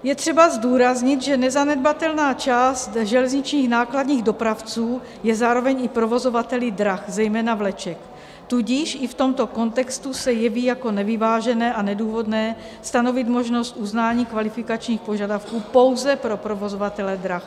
Je třeba zdůraznit, že nezanedbatelná část železničních nákladních dopravců je zároveň i provozovateli drah, zejména vleček, tudíž i v tomto kontextu se jeví jako nevyvážené a nedůvodné stanovit možnost uznání kvalifikačních požadavků pouze pro provozovatele drah.